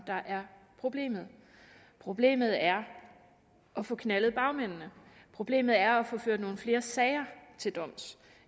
der er problemet problemet er at få knaldet bagmændene problemet er at få ført nogle flere sager til doms